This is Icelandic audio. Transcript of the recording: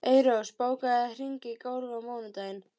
Eyrós, bókaðu hring í golf á mánudaginn.